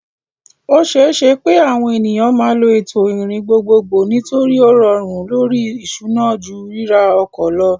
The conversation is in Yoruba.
O ṣeé ṣe pé àwọn ènìyàn máa lo ètò ìrìn gbogbogbò nítorí ó rọrùn lórí ìṣúná ju ríra ọkọ̀ lọ.